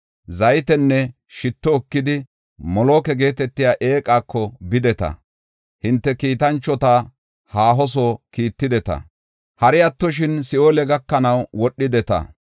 Zaytenne shitto ekidi Moloka geetetiya eeqako bideta; hinte kiitanchota haaho soo kiittideta; hari attoshin si7oole gakanaw wodhideta.